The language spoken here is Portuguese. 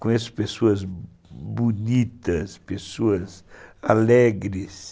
Conheço pessoas bonitas, pessoas alegres.